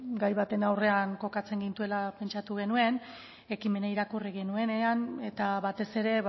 gai baten aurrean kokatzen gintuela pentsatu genuen ekimena irakurri genuenean eta batez ere